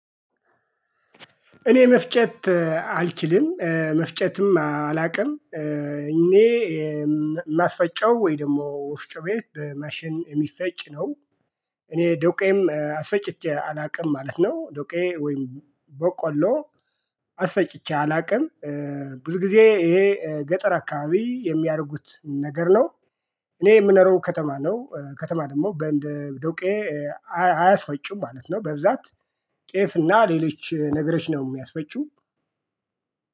እኔ መፍጨት አልችልም መፍጨትም አላውቅም እኔ የማስፈጨው ወይ ደግሞ ወፍጮ ቤት በማሽን የሚፈጭ ነው። እኔ ዶቄም አስፈጭቼ አላውቅም ማለት ነው ዶቄ ወይም በቆሎ አስፈጭቼ አላውቅም። ብዙ ጊዜ ይሄ ገጠር አካባቢ የሚያደርጉት ነገር ነው። እኔ የምኖረው ከተማ ነው ከተማ ደግሞ በንድ ዶቄ። አያስፈጩም ማለት ነው በብዛት ጤፍ እና ሌለች ነገሮች ነው። የሚያስፈጩ